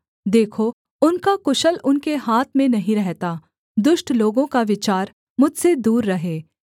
देखो उनका कुशल उनके हाथ में नहीं रहता दुष्ट लोगों का विचार मुझसे दूर रहे